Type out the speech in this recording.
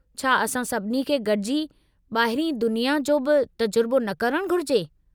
छा असां सभिनी खे गॾिजी ॿाहिरीं दुनिया जो बि तजुरिबो न करणु घुरिजे?